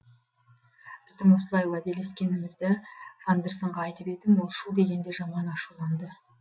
біздің осылай уәделескенімізді фондерсонға айтып едім ол шу дегенде жаман ашуланды